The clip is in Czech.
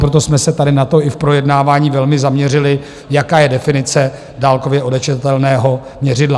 Proto jsme se tady na to i v projednávání velmi zaměřili, jaká je definice dálkově odečitatelného měřidla.